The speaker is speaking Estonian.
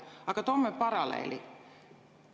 Aga toome paralleeli.